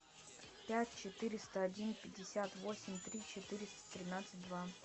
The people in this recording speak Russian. пять четыреста один пятьдесят восемь три четыреста тринадцать два